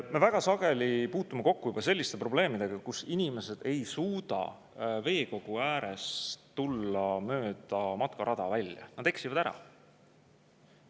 Me väga sageli puutume kokku ka selliste probleemidega, et inimesed ei suuda veekogu ääres tulla mööda matkarada välja, nad eksivad ära.